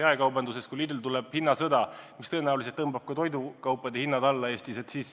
Kui jaekaubandusse lülitub Lidl, siis see tõenäoliselt tõmbab Eestis toidukaupade hinnad alla.